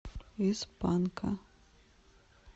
из панка